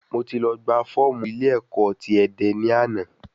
Mo ti lọ gba fọ́ọ̀mù ilé ẹ̀kọ́ ti Ẹdẹ ní àná